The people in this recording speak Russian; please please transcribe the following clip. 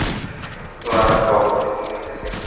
лара крофт